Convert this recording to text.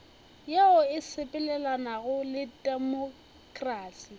yeo e sepelelanago le temokrasi